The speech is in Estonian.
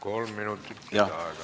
Kolm minutit lisaaega.